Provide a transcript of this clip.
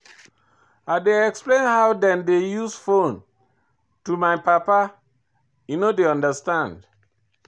I dey explain how dem dey use fone to my papa, him no dey understand.